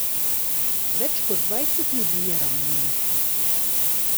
Več kot dvajset ljudi je ranjenih.